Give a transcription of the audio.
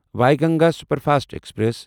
Wainganga superfast express